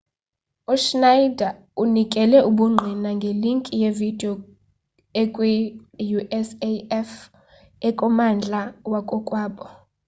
uschneider unikele ubungqina ngelinki yevidiyo ekwiusaf ekummandla wakokwabo